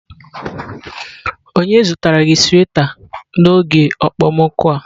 Onye zụtara gị sweta n'oge okpomọkụ a?